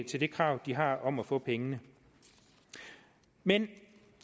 til det krav de har om at få pengene men